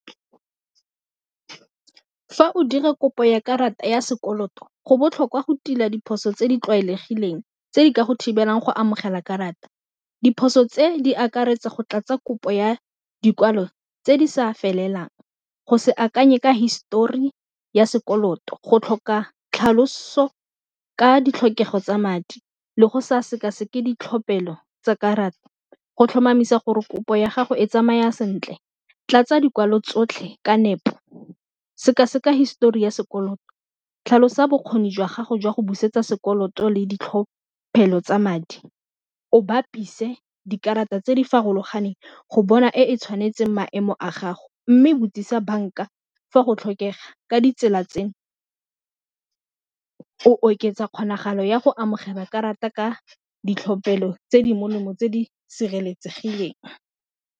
Fa o dira kopo ya karata ya sekoloto go botlhokwa go tila diphoso tse di tlwaelegileng tse di ka go thibelang go amogela karata, diphoso tse di akaretsa go tlatsa kopo ya dikwalo tse di sa felelang, go se akanye ka histori ya sekoloto go tlhoka tlhaloso ka ditlhokego tsa madi, le go sa sekaseke ditlhophelo tsa karata, go tlhomamisa gore kopo ya gago e tsamaya sentle tlatsa dikwalo tsotlhe ka nepo sekaseka histori ya sekoloto tlhalosa bokgoni jwa gago jwa go busetsa sekoloto le ditlhophelo tsa madi o bapise dikarata tse di farologaneng go bona e e tshwanetseng maemo a gago mme botsisa banka fa go tlhokega ka ditsela tse go oketsa kgonagalo ya go amogela karata ka ditlhophelo tse di molemo tse di sireletsegileng.